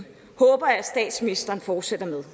håber jeg at statsministeren fortsætter med